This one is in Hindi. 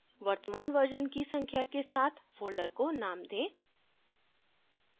वर्तमान version की संख्या के साथ folder को name दें